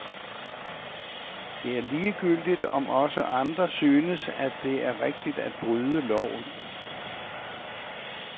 Det er ligegyldigt, om også andre synes, at det er rigtigt at bryde loven.